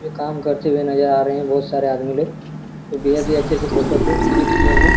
जो काम करते हुए नजर आ रहे है बहुत सारे आदमी लोग अच्छे से फोटो को क्लिक किए है।